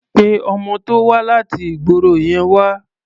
Pé ọmọ tó wá láti ìgboro yẹn wá.